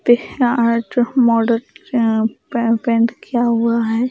Krishna art model अं paint किया हुआ है।